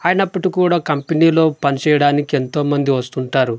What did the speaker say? అయినప్పటి కూడా కంపెనీలో పనిచేయడానికి ఎంతో మంది వస్తుంటారు.